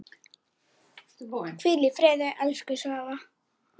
Hvíl í friði, elsku Svava.